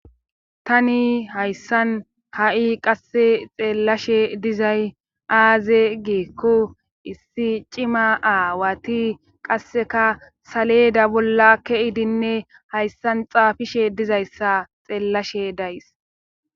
tani hayssan ha7i qasse xeellashe dizay aaze giikko issi cima aawati qasseka saleda bolla keidinne hayssan xaafishe dizayssa xeellashe days